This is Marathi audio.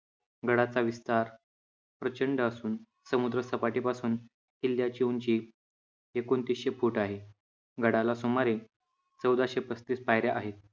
गडाचा विस्तार प्रचंड असून समुद्रसपाटीपासून किल्ल्याची उंची एकोणतीसशे फुट आहे. गडाला सुमारे चौदाशे पस्तीस पायऱ्या आहेत.